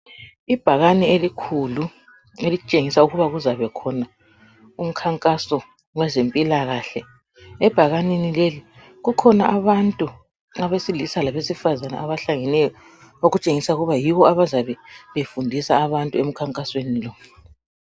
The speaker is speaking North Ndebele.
Ibhakane elikhulu elitshengisa ukuba kuzabakhona umkhankaso wezempilakahle. Ebhakaneni leli kukhona abantu abesilisa labesifazana abahlangeneyo okutshengisa ukuthi yibo abazabe befundisa abantu emkhankasweni lo.